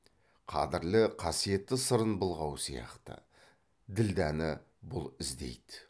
қадірлі қасиетті сырын былғау сияқты ділдәні бұл іздейді